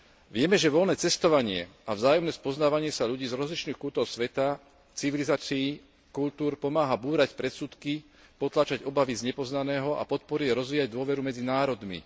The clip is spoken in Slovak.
Vieme, že voľné cestovanie a vzájomné spoznávanie sa ľudí z rozličných kútov sveta, civilizácií, kultúr pomáha búrať predsudky, potláčať obavy z nepoznaného a podporuje a rozvíja dôveru medzi národmi.